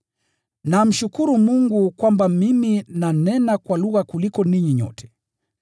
Namshukuru Mungu kwamba mimi nanena kwa lugha kuliko ninyi nyote.